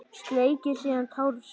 Sleikir síðan tár sitt.